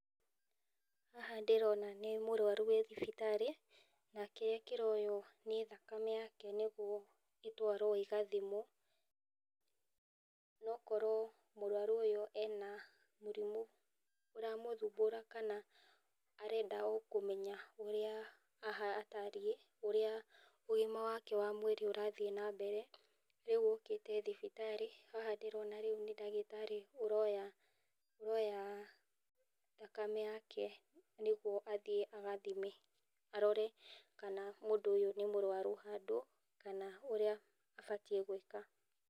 Haha ndĩrona nĩ mũrwaru wĩ thibitarĩ, na kĩrĩa kĩroywo nĩ thakame yake nĩguo ĩthiĩ ĩgathimwo, nokorwo mũrwaru ũyũ ena mũrimũ ũramũthumbũra kana arenda okũmenya ũrĩa aha atariĩ, ũrĩa ũgima wake wa mwĩrĩ ũrathiĩ na mbere , rĩu okĩte thibitarĩ, haha ndĩrona rĩu nĩ ndagĩtarĩ ũroya thakame yake nĩgetha athiĩ agathime, arore kana mũndũ ũyũ nĩ mũrwaru handũ, kana ũrĩa abatiĩ nĩ gwĩka.